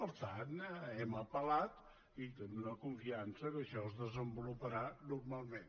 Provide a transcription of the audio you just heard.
per tant hem apel·lat i tenim la confiança que això es desenvoluparà normalment